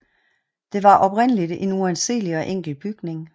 Det var oprindeligt en uanselig og enkel bygning